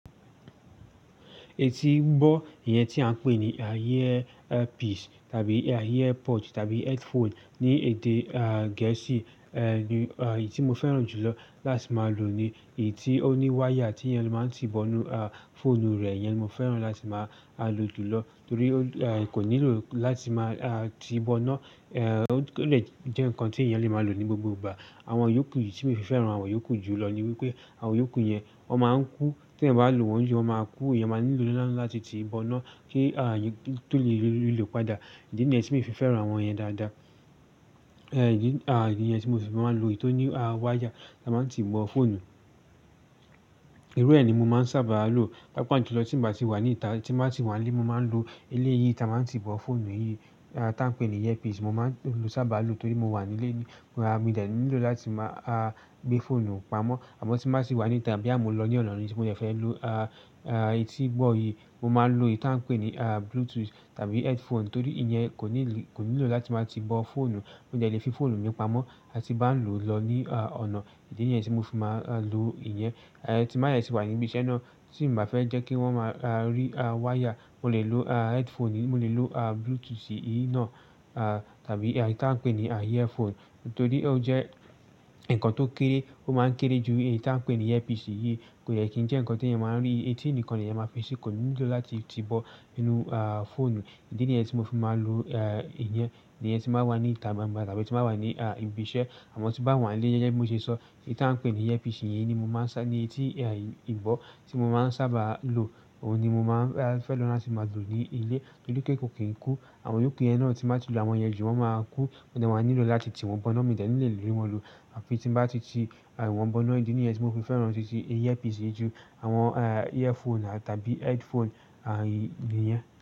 Etii gbọ́ ìyẹn tí a ń pè ní earpiece tàbí earpod tàbí headphone ní èdè Gẹ̀ẹ́sì ni èyí tí mo fẹ́ràn jù lọ láti máa lò ni. Èyí tí ó ní wáyà tí èèyàn máa ń ti bọ inú fọ́ònù rẹ̀, ìyẹn ni mo fẹ́ràn láti máa lò jù lọ torí kò nílò láti máa ti bọ iná. Ó dè jẹ́ ǹkan tí èèyàn lè máa lò ní gbogbo ìgbà. Àwọn yòókù tí èyí tí mo fi fẹ́ràn àwọn yòókù jù lọ ni wípé àwọn yòókù yẹn wọ́n máa ńkú, tí èèyàn bá lò wọ́n jù, wọ́n máa ń kú. Iyàn máa nílò iná láti ti bọ iná kí èèyàn tó lè rí ló padà. Ìdí nìyẹn tí mo fi fẹ́ràn àwọn yẹn dáadáa. Ìdí ǹyẹn tí mo fi máa ń lo èyí tó ní wáyà tí a máa ń ti bọ fọ́ònù. Irú ẹ ni mo máa ń sábàa lò. Páapáa jú lọ́ tí mio bá tì wà ní ìta, tí mo bá sì wà nílé, mo máa ń lo eléyìí tí a máa ń ti bọ fọ́ònù yìí tí a ń pè ní earpiece. Mo máa ń sábà lò torí mo wà nílé mi. Mi ò de nílò láti máa gbé fóònù pamọ́. Àmọ́ tí mo bá tì wà ní ìta bóyá mo ń lọ ní ọ̀nà níìsín, mo dẹ fẹ́ lò etí gbọ́ yìí. Mo máa ń lo èyí tí a ń pè ní Bluetooth tàbí headphone torí ìyẹn kò nílò láti máa ti bọ fọ́ònù. Mo dè le fi fọ́ònù mi pamọ́ ti bá ń lò lọ ní ọ̀nà. Ìdí nìyẹn tí mo fi máa ń lò ìyẹn. Tí mo bá sì wà ní ibi iṣẹ́ náà, tí n bá fẹ́ jẹ́ kí wọ́n máa rí wáyà, mo lè lo headphone, mo lè lo Bluetooth yìí náà tàbí èyí tí a ń pè ní earphone torí ó jẹ́ ǹkan tó kéré. Ó máa ń kéré ju èyí tí a ń pè ní earpiece yìí. Kò yẹ kí ń jẹ́ ǹkan tí èèyàn máa ń rí. Ètí ni kan ni èèyàn máa ń fi ṣí, kò nílò láti ti bọ inú fọ́ònù. Ìdí nìyẹn tí mo fi máa ń lò ìyẹn. Ìyẹn tí mo bá wà ní ìta gbangba tàbí tí mo bà wà ní ibi iṣẹ́. Àmọ́ tí mo bá wà nílé gẹ́gẹ́ bí mo ṣe sọ, èyí tí a ń pè ní earpiece eyii ni mo ma ń sa ní etí en ìgbọ tí mo máa ń sábà lò. Òun ni mo máa ń fẹ́ràn láti máa lò nílé nítorí pé kò kí ń kú. Àwọn yòókù yẹn náà tí mo bá ti lò àwọn yẹn jù, wọ́n máa kú. Mo de wàá nílò láti ti wọn bọ iná. Mi ò de ní lè lé wọ́n àfi tí mo bá ti ti wọn bọ iná. Ìdí nìyẹn tí mo fi fẹ́ràn ti ti earpiece jù àwọn earphone tàbí headphone nìyẹn.